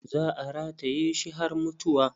Za a rataye shi har mutuwa.